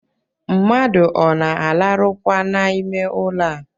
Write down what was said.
Mmadụ ọ na-alarụkwa n’ime ụlọ a?